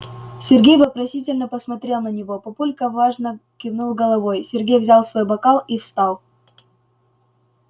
сергей вопросительно посмотрел на него папулька важно кивнул головой сергей взял свой бокал и встал